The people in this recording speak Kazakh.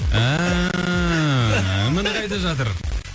ііі міне қайда жатыр